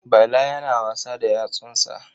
Bala yana wasa da yatsunsa.